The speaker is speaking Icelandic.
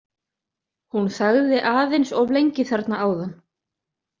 Hún þagði aðeins of lengi þarna áðan.